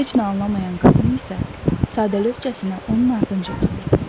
Heç nə anlamayan qadın isə sadəlövhcəsinə onun ardınca gedirdi.